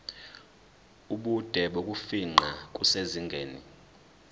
ubude bokufingqa kusezingeni